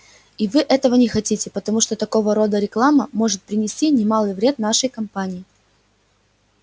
и вы этого не хотите потому что такого рода реклама может принести немалый вред нашей компании